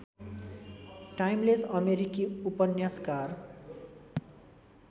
timeless अमेरिकी उपन्यासकार